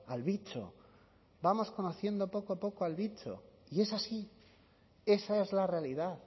al bicho vamos conociendo poco a poco al bicho y es así esa es la realidad